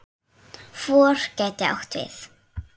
FOR gæti átt við